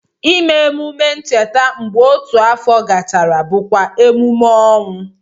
Ime emume ncheta mgbe otu afọ gachara bụkwa emume ọnwụ